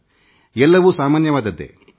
ಮೇಲ್ನೋಟಕ್ಕೆ ಎಲ್ಲವೂ ಸಾಮಾನ್ಯವಾಗೇ ಕಾಣುತ್ತದೆ